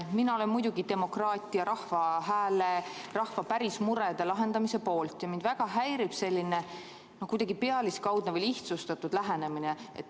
Mina olen muidugi demokraatia, rahva hääle, rahva päris murede lahendamise poolt ja mind väga häirib selline kuidagi pealiskaudne või lihtsustatud lähenemine.